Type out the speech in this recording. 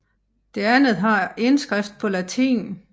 Det andet har indskrift på latin